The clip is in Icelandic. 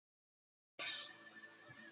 Laxnesi